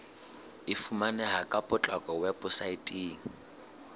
e fumaneha ka potlako weposaeteng